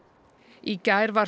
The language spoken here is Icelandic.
í gær var